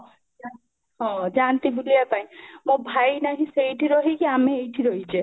ଯାନ୍ତି ହଁ ଯାନ୍ତି ବୁଲିବା ପାଇଁ ମୋ ଭାଇ ନାହିଁ ସେଠି ରହିକି ଆମେ ଏଇଠି ରହିଛେ